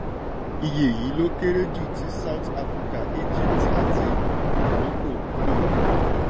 iye yìí lọ kéré ju ti south africa egypt àti morocco lọ.